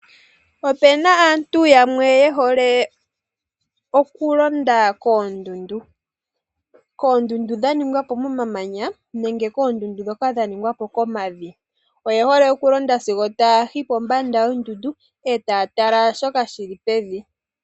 Opuna aantu yamwe yehole okulonda koondundu. Koondundu dha ningwa po momamanya, nenge koondundu dhoka dha ningwa po komavi. Oye hole okulonda sigo taayi pombanda yoondundu, etaya tala shoka shili pevi.